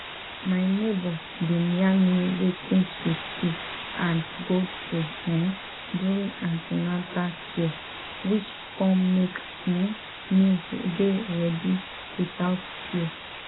my neighbor bin yarn me wetin she see and go through um during an ten atal care which don make um me dey ready without fear